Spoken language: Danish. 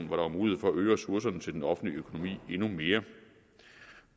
var mulighed for at øge ressourcerne til den offentlige økonomi endnu mere